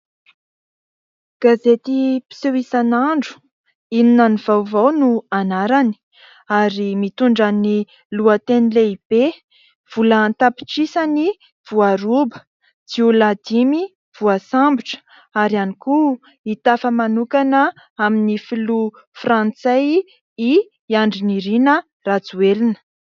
Gazety mpiseho isanandro inona no vaovao no anarany ary mitondra ny lohateny lehibe : vola an-tapitrisany voaroba, jiolahy dimy voasambotra ary ihany koa hitafa manokana amin'ny filoha frantsay i Andry Nirina Rajoelina.